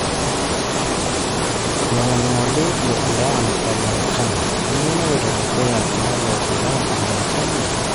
Olongolingoli le Iran o Marekani:Kanyio naloito dukuya tialo Iran o Marekani?